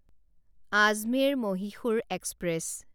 Ajmer Mysore express